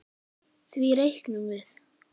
Því reiknum við